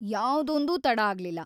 ಯಾವ್ದೊಂದೂ ತಡ ಆಗ್ಲಿಲ್ಲ.